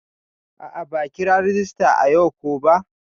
A'a ba kira rajista ayau ko ba.